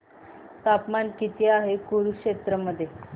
तापमान किती आहे कुरुक्षेत्र मध्ये